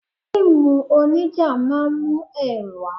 Fíìmù onija máa ń mú ẹrù wá.